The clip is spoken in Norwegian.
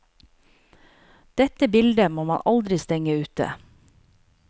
Dette bilde må man aldri stenge ute.